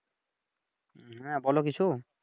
হুম হ্যাঁ বলো কিছু ।